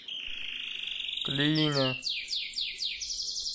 клине